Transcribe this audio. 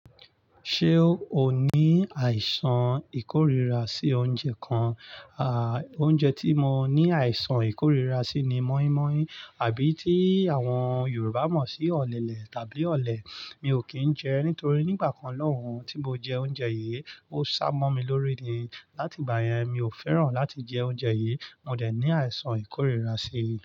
Ṣé o ní àìsàn ìkóríra sí oúnjẹ kan? À, oúnjẹ tí mo ní àìsàn ìkóríra sí ni mọ́í-mọ́í àbí tí àwọn Yorùbá mọ̀ sí ọ̀lẹ̀lẹ̀ tàbí ọ̀lẹ̀. Mi ò kì í jẹ ẹ́ nítorí nígbà kan lọ́hùn tí mo jẹ oúnjẹ yìí, ó sá mọ́ mi lórí ni. Láti ìgbà yẹn, mi ò fẹ́ràn láti jẹ oúnjẹ yìí. Mo dẹ̀ ní àìsàn ìkóríra sí í.